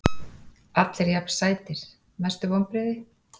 Allir jafn sætir Mestu vonbrigði?